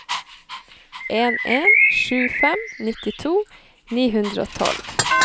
en en sju fem nittito ni hundre og tolv